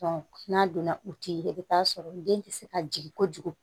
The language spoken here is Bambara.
n'a donna u ti ye i bi taa sɔrɔ den ti se ka jigin kojugu